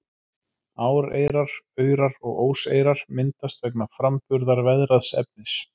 Áreyrar, aurar og óseyrar myndast vegna framburðar veðraðs efnis.